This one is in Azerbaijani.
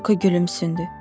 Loyko gülümsündü.